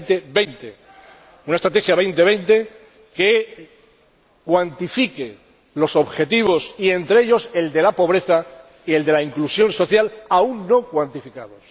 2020. Una Estrategia 2020 que cuantifique los objetivos, y entre ellos el de la pobreza y el de la inclusión social, aún no cuantificados.